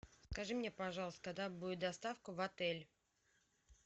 скажи мне пожалуйста когда будет доставка в отель